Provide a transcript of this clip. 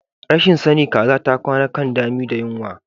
Rashin sani kaza ta kwana kan dami da yunwa.